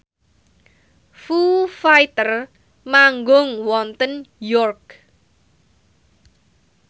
Foo Fighter manggung wonten York